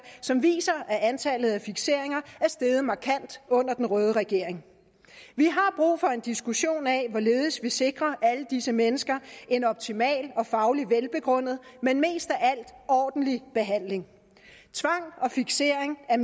som viser at antallet af fikseringer er steget markant under den røde regering vi har brug for en diskussion af hvorledes vi sikrer alle disse mennesker en optimal og fagligt velbegrundet men mest af alt ordentlig behandling tvang og fiksering er